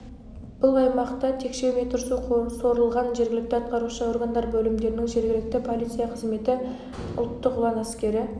бұл аймақта текше метр су сорылған жергілікті атқарушы органдар бөлімдерінің жергілікті полиция қызметі ұлттық ұлан әскері